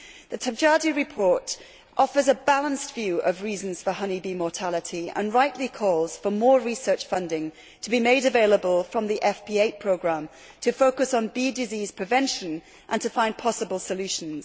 The Tabajdi report offers a balanced view of reasons for honeybee mortality and rightly calls for more research funding to be made available from the FP8 programme to focus on bee disease prevention and to find possible solutions.